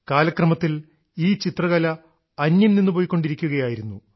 കാലക്രമത്തിൽ ഈ ചിത്രകല അന്യം നിന്നുപൊയ്ക്കൊണ്ടിരിക്കുകയായിരുന്നു